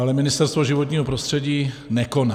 Ale Ministerstvo životního prostředí nekoná.